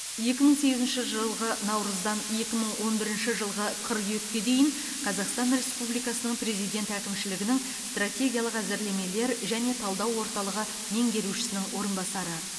екі мың сегізінші жылғы наурыздан екі мың он бірінші жылғы қыркүйекке дейін қазақстан республикасының президент әкімшілігінің стратегиялық әзірлемелер және талдау орталығы меңгерушісінің орынбасары